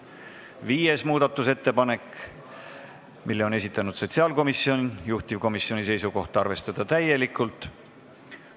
Viienda muudatusettepaneku on esitanud sotsiaalkomisjon, juhtivkomisjoni seisukoht on arvestada seda täielikult.